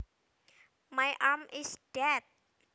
My arm is dead